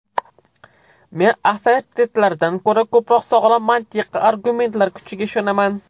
Men avtoritetlardan ko‘ra ko‘proq sog‘lom mantiqiy argumentlar kuchiga ishonaman.